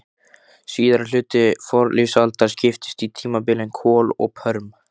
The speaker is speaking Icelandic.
Síðari hluti fornlífsaldar skiptist í tímabilin kol og perm.